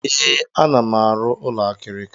Ee, ana m arụ ụlọ akịrịka.